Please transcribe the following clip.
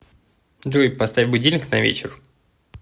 джой поставь будильник на вечер